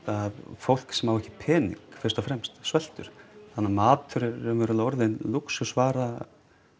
fólk sem á ekki pening fyrst og fremst sveltur þannig að matur er raunverulega orðinn lúxusvara